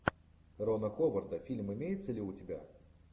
рона ховарда фильм имеется ли у тебя